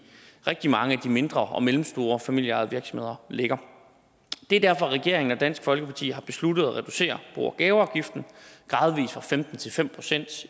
rigtig mange af de mindre og mellemstore familieejede virksomheder ligger det er derfor regeringen og dansk folkeparti har besluttet at reducere bo og gaveafgiften gradvis fra femten til fem procent